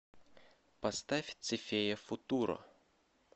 поставь цифея футуро